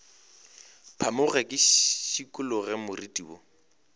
phamoge ke šikologe moriti wo